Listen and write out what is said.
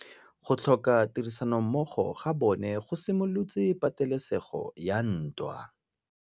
Go tlhoka tirsanommogo ga bone go simolotse patêlêsêgô ya ntwa.